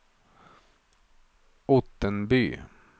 Ottenby